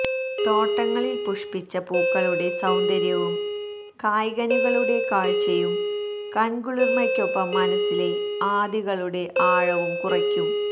തോട്ടങ്ങളിൽ പുഷ്പിച്ച പൂക്കളുടെ സൌന്ദര്യവും കായ്കനികളുടെ കാഴ്ചയും കൺകുളിർമയ്ക്കൊപ്പം മനസ്സിലെ ആധികളുടെ ആഴവും കുറയ്ക്കും